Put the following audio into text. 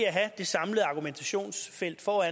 for